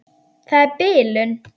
Það er bilun.